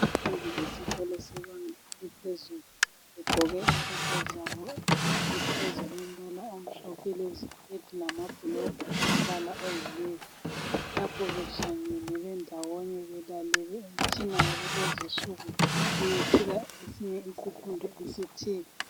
Abafundi besikolo esibanga eliphezulu begqoke impahla zabo izikipa ezilombala omhlophe leziketi lamabhulugwe alombala oyi nevi lapho behlangene bendawonye belalele umtshina wakulezinsuku uyethula esinye isifundo esithile.